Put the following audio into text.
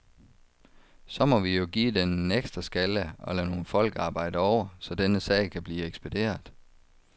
Så må vi jo give den en ekstra skalle og lade nogle folk arbejde over, så denne sag kan blive ekspederet.